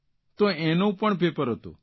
તો તેનું પણ પેપર હતું